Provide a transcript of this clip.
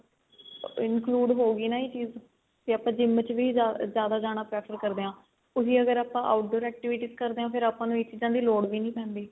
include ਹੋ ਗਈ ਨਾ ਇਹ ਚੀਜ ਤੇ ਆਪਾਂ GYM ਚ ਵੀ ਜਿਆਦਾ ਜਾਣਾ prefer ਕਰਦੇ ਆ ਉਹੀ ਅਗਰ ਆਪਾਂ outdoor activities ਕਰਦੇ ਆ ਫੇਰ ਆਪਾਂ ਨੂੰ ਇਹ ਚੀਜ਼ਾਂ ਦੀ ਲੋੜ ਵੀ ਨਹੀਂ ਪੈਂਦੀ